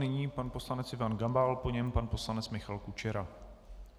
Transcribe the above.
Nyní pan poslanec Ivan Gabal, po něm pan poslanec Michal Kučera.